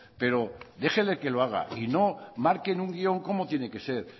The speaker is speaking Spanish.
pero déjele que lo haga y no marquen un guión cómo tiene que ser